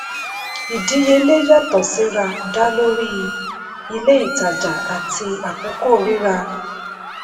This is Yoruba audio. ìdíyelé yàtọ̀ síra dá lórí ilé ìtajà àti àkókò rira.